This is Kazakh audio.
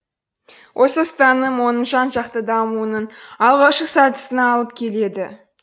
осы ұстаным оның жан жақты дамуының алғашқы сатысына алып келеді